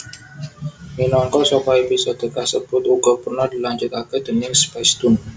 Minangka saka episode kasebut uga pernah dilanjutaké déning Spacetoon